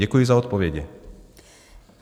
Děkuji za odpovědi.